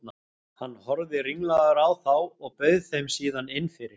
Hann horfði ringlaður á þá og bauð þeim síðan inn fyrir.